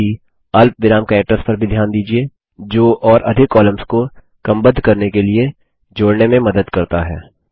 साथ ही अल्पविराम कैरेक्टर्स पर भी ध्यान दीजिये जो और क्रमबद्ध करने के लिए तथा अधिक कॉलम्स को जोड़ने में मदद करता है